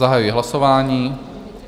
Zahajuji hlasování.